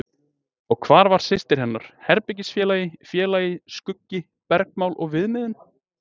Og hvar var systir hennar, herbergisfélagi, félagi, skuggi, bergmál og viðmiðun?